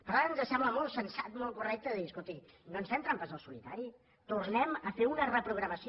per tant ens sembla molt sensat molt correcte dir escolti no ens fem trampes al solitari tornem a fer una reprogramació